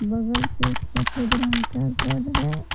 वहां पे एक सफेद रंग का घर है।